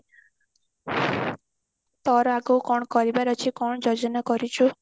ତୋର ଆଗକୁ କଣ କରିବାର ଅଛି କଣ ଯୋଜନା କରିଛୁ